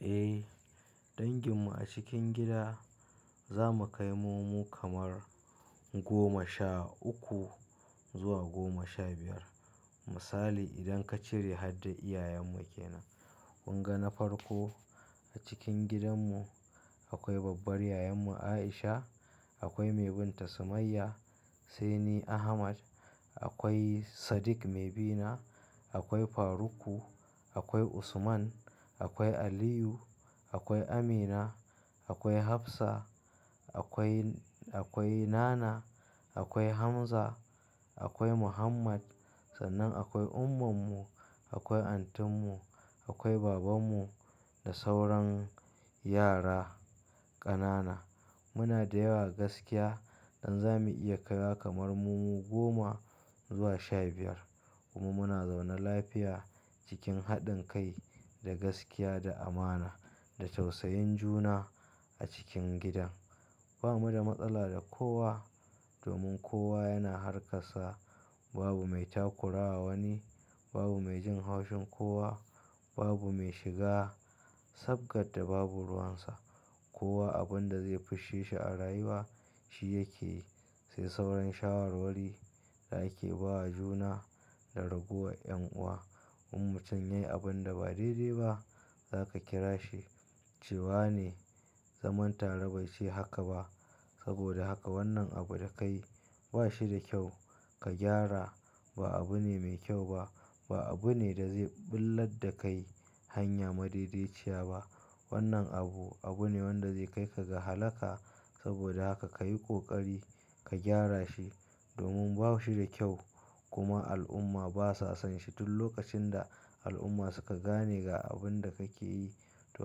Eh dangin mu a cikin gida, za mu kai mu mu kamar goma sha uku zuwa goma sha biyar. Misali idan ka cire har da iyayen mu ke nan. Kun ga na farko a cikin gidan mu akwai babbar yayan mu Aisha, akwai mai binta Sumayya, sai ni Ahmad, akwai Sadiq mai bina, akwai Faruk, akwai Usman, akwai Aliyu, akwai Amina, akwai Hafsa, akwai, akwai Nana, akwai Hamza, akwai Muhammad. Sannan akwai umman mu, akwai antin mu, akwai baban mu da sauran yara ƙanana. Muna da yawa gaskiya, dan zamu iya kaiwa kamar mu mu goma zuwa sha biyar. Kuma muna zaune lafiya cikin haɗin kai da gaskiya da amana da tausayin juna a cikin gidan. Ba mu da matsala da kowa domin kowa yana harkar sa. Babu mai takurawa wani, babu mai jin haushin kowa, babu mai shiga sabgadda babu ruwan sa. Kowa abin da zai fisshe shi a rayuwa shi yake yi. Sai sauran shawarwari da ake ba wa juna da ragowar 'yan'uwa. In mutum yayi abunda ba daidai ba, zaka kira shi, ce wane, zaman tare bai ce haka ba. Sabida haka wannan abu da kayi ba shi da kyau ka gyara. Ba abune mai kyau ba. Ba abune da zai ɓullad da kai hanya madaidaiciya ba. Wannan abu, abune wanda zai kai ka ga halaka. Sabida haka kayi ƙoƙari ka gyara shi domin ba shi da kyau. Kuma al'umma ba sa son shi. Tun lokacin da al'umma suka gane ga abunda kake yi, to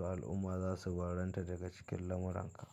al'umma za su barranta daga cikin lamuran ka.